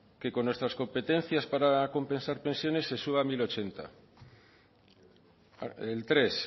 que con nuestras competencias para compensar pensiones se suba mil ochenta el tres